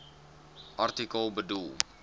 artikel bedoel